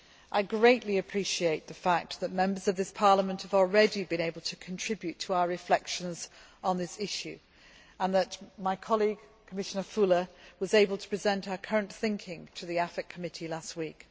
I greatly appreciate the fact that Members of this Parliament have already been able to contribute to our reflections on this issue and that my colleague, Commissioner Füle, was able to present our current thinking to the AFET Committee last week.